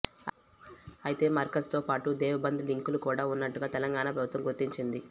అయితే మర్కజ్ తో పాటు దేవ్ బంద్ లింకులు కూడ ఉన్నట్టుగా తెలంగాణ ప్రభుత్వం గుర్తించింది